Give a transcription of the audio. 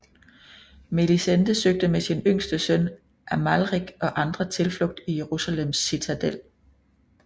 Melisende søgte med sin yngste søn Amalrik og andre tilflugt i Jerusalems citadel